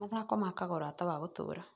Mathako makaga ũrata wa gũtũũra.